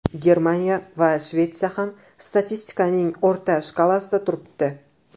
Germaniya va Shvetsiya ham statistikaning o‘rta shkalasida turibdi.